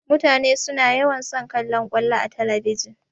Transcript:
Mutane suna yawan son kallan ƙwallo a talabijin.